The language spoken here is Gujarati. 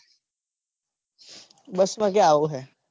bus માં ક્યાં એવું હે.